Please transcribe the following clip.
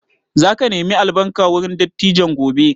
Za ka nemi albarka wurin dattijan gobe?